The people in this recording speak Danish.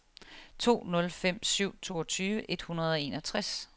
to nul fem syv toogtyve et hundrede og enogtres